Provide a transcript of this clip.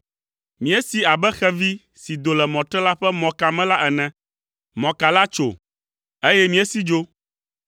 Míesi abe xevi si do le mɔtrela ƒe mɔka me la ene; mɔka la tso, eye míesi dzo.